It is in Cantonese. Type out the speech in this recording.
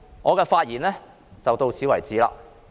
我的發言到此為止。